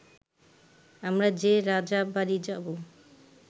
আমরা যে রাজাবাড়ি যাব